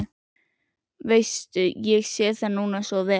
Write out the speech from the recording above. Veistu, ég sé það núna svo vel.